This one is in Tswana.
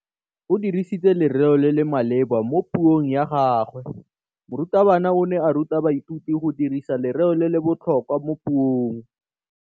O dirisitse lerêo le le maleba mo puông ya gagwe. Morutabana o ne a ruta baithuti go dirisa lêrêôbotlhôkwa mo puong.